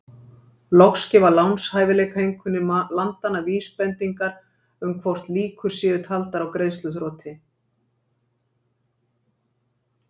Loks gefa lánshæfiseinkunnir landanna vísbendingar um hvort líkur séu taldar á greiðsluþroti.